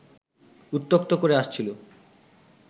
উত্ত্যক্ত করে আসছিল